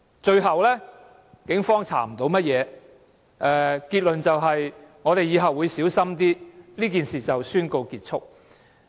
最後，警方甚麼都調查不到，結論就是，"我們以後會小心一點"，然後宣告事件結束。